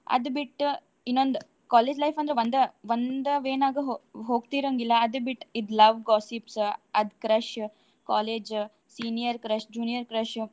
ಅದ್ ಬಿಟ್ಟ್ ಇನ್ನೊಂದ್ college life ಅಂದ್ರ ಒಂದ, ಒಂದ way ನಾಗ ಹೊ~ ಹೋಗ್ತಿರಂಗಿಲ್ಲ ಅದ್ ಬಿಟ್ ಇದು love gossips ಅದ್ crush, college senior crush, junior crush ಉ.